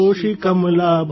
Koshi Kamala